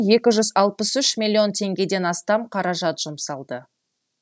екі жүз алпыс үш миллион теңгеден астам қаражат жұмсалды